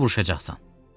Sən də vuruşacaqsan.